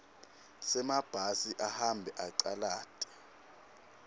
semabhasi ahambe acalata